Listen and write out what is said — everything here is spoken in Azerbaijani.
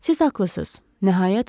Siz haqlısınız.